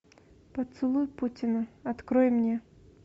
поцелуй путина открой мне